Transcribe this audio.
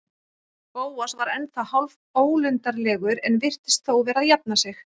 Bóas var ennþá hálfólundarlegur en virtist þó vera að jafna sig.